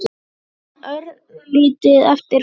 Ég man örlítið eftir honum.